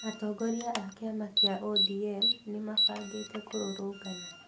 Atongoria a kĩama kĩa ODM nĩ mabangĩte kũrũrũngana